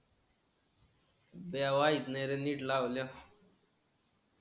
ते वाईट नाही रे नीट लावल्या